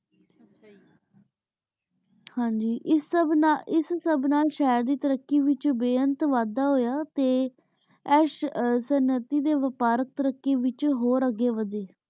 ਹਾਂਜੀ ਇਸ ਸਬ ਨਾਲ ਸ਼ਾਹੇਰ ਦੀ ਤੈਰਾਕੀ ਵਿਚ ਬੀ ਅੰਤ ਵਾਦਾ ਹੋਯਾ ਤੇ ਐਸ਼ ਸਨਾਤੀ ਦੇ ਵਪਾਰਿਕ ਤਾਰਾਕ਼ੀ ਦੇ ਵਿਚ ਹੋਰ ਅਗੇ ਵਾਦੇ